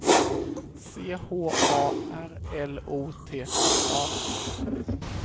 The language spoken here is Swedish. C H A R L O T T A